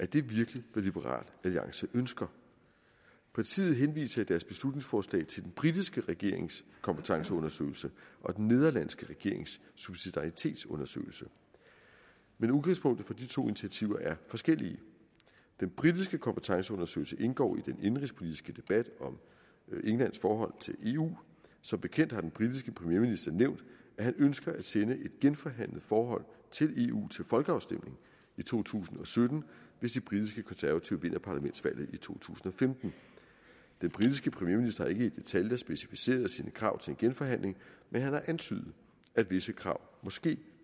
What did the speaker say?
det virkelig hvad liberal alliance ønsker partiet henviser i deres beslutningsforslag til den britiske regerings kompetenceundersøgelse og den nederlandske regerings subsidaritetsundersøgelse men udgangspunkterne for de to initiativer er forskellige den britiske kompetenceundersøgelse indgår i den indenrigspolitiske debat om englands forhold til eu som bekendt har den britiske premierminister nævnt at han ønsker at sende et genforhandlet forhold til eu til folkeafstemning i to tusind og sytten hvis de britiske konservative vinder parlamentsvalget i to tusind og femten den britiske premierminister har ikke i detaljer specificeret sine krav til en genforhandling men han har antydet at visse krav måske